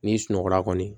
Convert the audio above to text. N'i sunɔgɔra kɔni